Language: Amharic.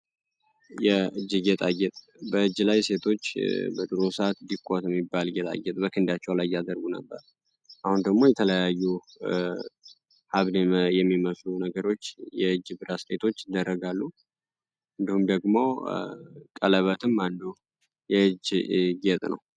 የእጅ ጌታጌጥ በእጅ ላይ በድሮ ሰዓት ሴቶች ዲኮር የሚባል ጌጥ በእጃቸው ላይ ያጠልቁ ነበር አሁን ደግሞ የተለያዩ አግድም የሚመስሉ ነገሮች በእጅ ባስኬቶች ይደረጋሉ እንዲሁም ደግሞ ቀለበትም አንዱ የእጅ ጌጥ ነው።